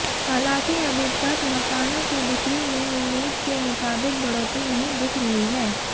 हालांकि अभी तक मकानों की बिक्री में उम्मीद के मुताबिक बढ़ोतरी नहीं दिख रही है